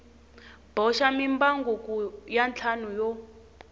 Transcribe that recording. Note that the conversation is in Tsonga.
boxa mimbangu ya ntlhanu yo